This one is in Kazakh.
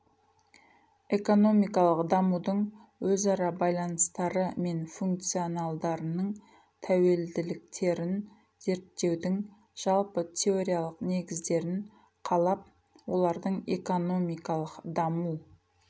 экономикалық дамудың өзара байланыстары мен функционалдарының тәуелділіктерін зерттеудің жалпы теориялық негіздерін қалап олардың экономикалық даму